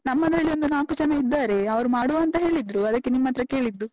ನಮ್ಮದ್ರಲ್ಲಿ ಒಂದು ನಾಕು ಜನ ಇದ್ದಾರೆ, ಅವ್ರು ಮಾಡುವಾಂತ ಹೇಳಿದ್ರು. ಅದಕ್ಕೆ ನಿಮ್ಹತ್ರ ಕೇಳಿದ್ದು.